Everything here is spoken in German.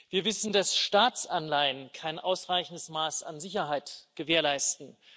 Wir wissen, dass Staatsanleihen kein ausreichendes Maß an Sicherheit gewährleisten.